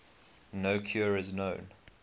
no cure is known